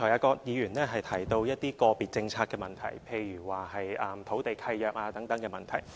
葛議員剛才提到一些個別政策的問題，例如土地契約等問題。